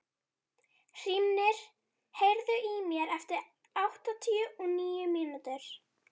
Hrímnir, heyrðu í mér eftir áttatíu og níu mínútur.